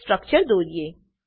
નું સ્ટ્રક્ચર દોરીએ